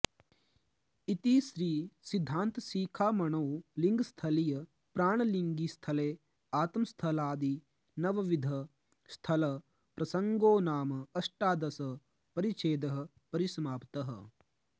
इति श्री सिद्धान्त शिखामणौ लिङ्गस्थलीय प्राणलिङ्गि स्थले आत्मस्थलादि नवविध स्थल प्रसङ्गोनाम अष्टादश परिच्छेदः परिसमाप्तः